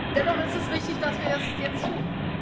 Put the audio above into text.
Dennoch ist es richtig, dass wir das jetzt